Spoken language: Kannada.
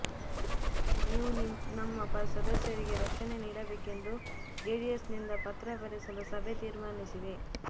ನೀವು ನಮ್ಮ ಸದಸ್ಯರಿಗೆ ರಕ್ಷಣೆ ನೀಡಬೇಕೆಂದು ಜೆಡಿಎಸ್ನಿಂದ ಪತ್ರ ಬರೆಸಲು ಸಭೆ ತೀರ್ಮಾನಿಸಿದೆ